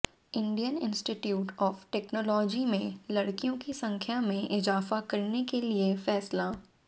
Indian institute of technology में लड़कियों की संख्या में इजाफा करने के लिया फैसला